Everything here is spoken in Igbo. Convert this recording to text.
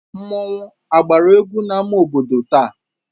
Mmọnwụ agbara egwu n'ama obodo taa?